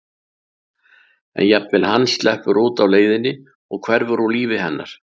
En jafnvel hann sleppur út á leiðinni og hverfur úr lífi hennar.